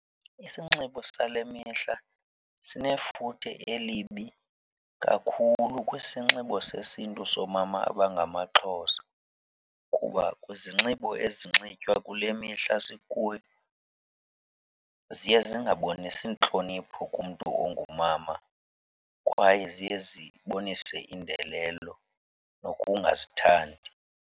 Isinxibo sale mihla sinefuthe elibi kakhulu kwisinxibo sesiNtu soomama abangamaXhosa kuba kwizinxibo ezinxitywa kule mihla sikuyo ziye zingabonisi ntlonipho kumntu ongumama kwaye ziye zibonise indelelo nokungazithandi.